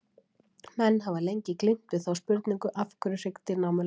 Menn hafa lengi glímt við þá spurningu, af hverju hryggdýr námu land.